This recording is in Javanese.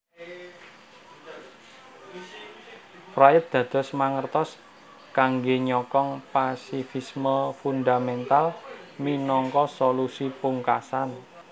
Fried dados mangertos kangge nyokong pasifisme fundamental minangka solusi pungkasan